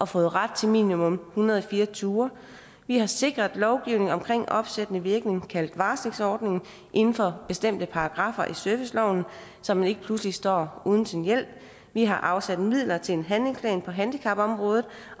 fået ret til minimum hundrede og fire ture vi har sikret lovgivningen omkring opsættende virkning kaldt varslingsordningen inden for bestemte paragraffer i serviceloven så man ikke pludselig står uden sin hjælp vi har afsat midler til en handlingsplan på handicapområdet